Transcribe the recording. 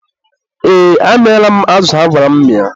ee, amịala m azụ agwara m mịa.